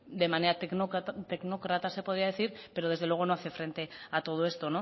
de manera tecnócrata se podría decir pero desde luego no hace frente a todo esto